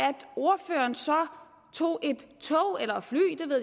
ordføreren så tog et tog eller fly